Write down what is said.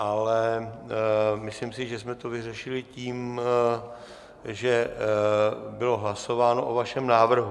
Ale myslím si, že jsme to vyřešili tím, že bylo hlasováno o vašem návrhu.